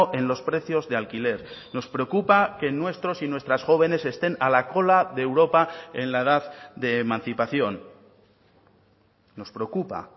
en los precios de alquiler nos preocupa que nuestros y nuestras jóvenes estén a la cola de europa en la edad de emancipación nos preocupa